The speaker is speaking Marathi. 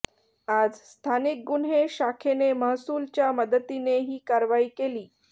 आज स्थानिक गुन्हे शाखेने महसूलच्या मदतीने ही कारवाई केली